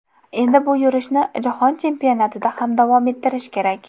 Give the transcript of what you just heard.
Endi bu yurishni Jahon chempionatida ham davom ettirish kerak.